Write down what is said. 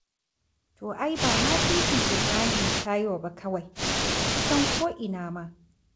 To ai ba ma titin Ibrahim Taiwo ba kawai, kusan ko'ina ma.